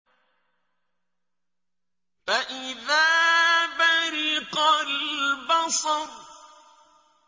فَإِذَا بَرِقَ الْبَصَرُ